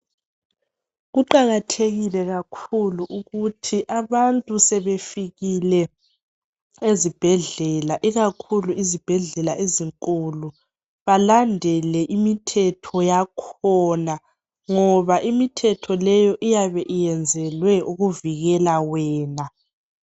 Kuqakathekile kakhulu ukuthi abantu sebefikile ezibhedlela ikakhulu izibhedlela ezinkulu balandele imithetho yakhona ngoba imithetho leyo iyabe iyenzelwe ukuvikela wena.